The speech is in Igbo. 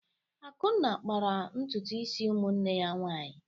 Akunna kpara ntutu isi ụmụnne ya nwanyị.